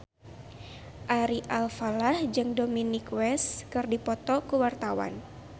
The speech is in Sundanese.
Ari Alfalah jeung Dominic West keur dipoto ku wartawan